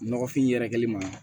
Nɔgɔfin yɛrɛkɛli ma